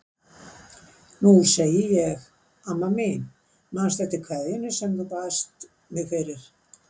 Nú segi ég: Amma mín, manstu eftir kveðjunni sem þú baðst mig fyrir?